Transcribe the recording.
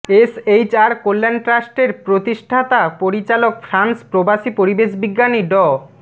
SHR Kalyan ট্রাস্টের প্রতিষ্ঠাতা পরিচালক ফ্রান্স প্রবাসী পরিবেশবিজ্ঞানী ড